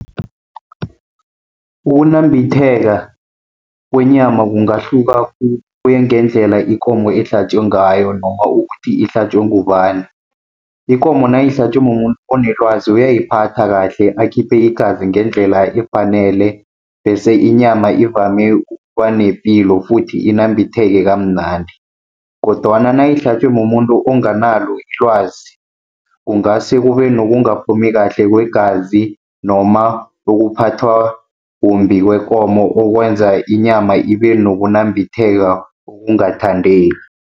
Ukunambitheka kwenyama kungahluka khulu, kuya ngendlela ikomo ehlatjwe ngayo noma ukuthi ihlatjwe ngubani. Ikomo nayihlatjwe mumuntu onelwazi uyayiphatha kahle, akhiphe igazi ngendlela efanele, bese inyama ivame ukuba nepilo futhi inambitheke kamnandi. Kodwana nayihlatjwe mumuntu onganalo ilwazi, kungase kube nokungaphumi kahle kwegazi noma ukuphathwa kumbi kwekomo okwenza inyama ibe nokunambitheka okungathandeki.